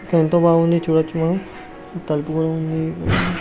ఇక్కడ ఎంతో బాగుంది చూడొచ్చు. మనం తలుపులు కూడా ఉన్నాయి.